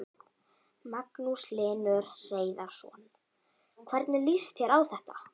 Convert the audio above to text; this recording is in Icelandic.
Magnús Hlynur Hreiðarsson: Hvernig líst þér á þetta?